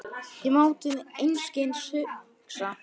Ég má til einskis hugsa.